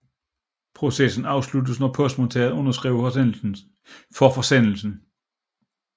Processen afsluttes når postmodtageren underskriver for forsendelsen